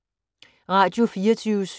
Radio24syv